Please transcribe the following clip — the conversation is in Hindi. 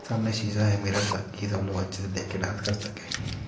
सामने शीशा है मिरर ताकि सब लोग अच्छे से देख के डांस कर सके।